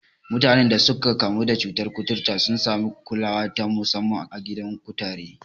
Mutanen da suka kamu da cutar kuturta sun sami kulawa ta musamman a gidan kutare.